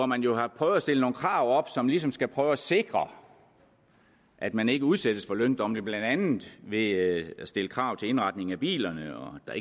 man jo har prøvet at stille nogle krav op som ligesom skal prøve at sikre at man ikke udsættes for løndumping blandt andet ved at stille krav til indretningen af bilerne og at